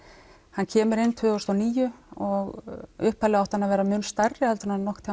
hann kemur inn tvö þúsund og níu og upphaflega átti hann að vera mun stærri heldur en hann nokkurn